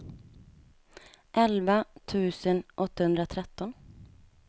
elva tusen åttahundratretton